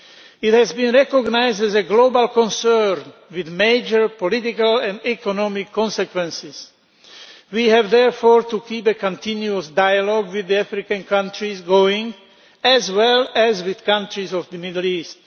It has been recognised as a global concern, with major political and economic consequences. We therefore have to keep a continuous dialogue with African countries going, as well as with countries of the Middle East.